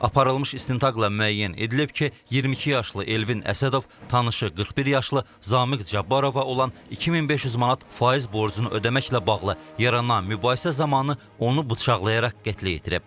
Aparılmış istintaqla müəyyən edilib ki, 22 yaşlı Elvin Əsədov tanışı 41 yaşlı Zamiq Cabbarova olan 2500 manat faiz borcunu ödəməklə bağlı yaranan mübahisə zamanı onu bıçaqlayaraq qətlə yetirib.